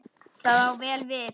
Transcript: Það á vel við.